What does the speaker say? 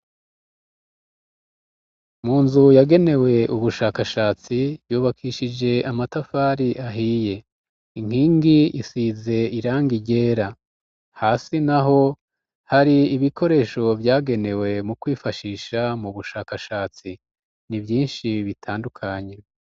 Mu nzu yagenewe ubushakashatsi yubakishije amatafari ahiye inkingi isize irangi ryera. Hasi naho hari ibikoresho vyagenewe mu kwifashisha mu bushakashatsi; ni vyinshi bitandukanye.